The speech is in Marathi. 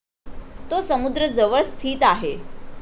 तो समुद्र जवळ स्थित आहे.